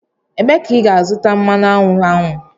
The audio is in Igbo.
Ebee ka ị ga-azụta mmanụ aṅụ ahụ?